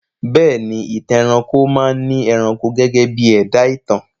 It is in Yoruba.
Bẹ́ẹ̀ ni, Ìtàn ẹranko máa ni ẹranko gẹ́gẹ́ bí ẹ̀dá ìtàn